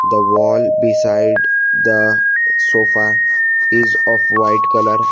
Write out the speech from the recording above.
the wall beside the sofa is of white colour.